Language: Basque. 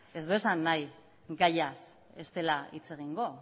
ez du esan nahi gaiaz ez dela hitz egingo